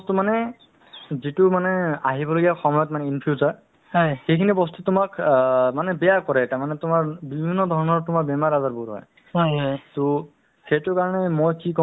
বা তেনেকে ধৰণৰ যিকোনো বেমাৰৰ ক্ষেত্ৰত তেওঁলোক কি কই অ উম এটা এটা meeting আকাৰে তেওঁলোকক বুজোৱা হয় মানুহক মাতে বুজাই to এহ্ to তেনেকে ধৰণৰ বহুত সজাগতা সভাও পাতে